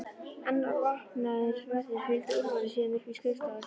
Annar vopnaður vörður fylgdi Úlfari síðan upp í skrifstofuna.